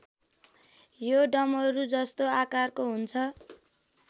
यो डमरूजस्तो आकारको हुन्छ